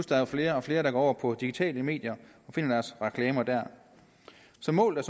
der er flere og flere der går over på digitale medier og finder deres reklamer der så målet